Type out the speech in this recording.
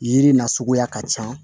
Yiri na suguya ka ca